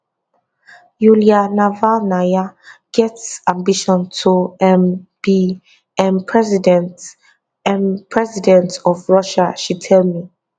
yulia navalnaya get ambition to um be um president um president of russia she tell me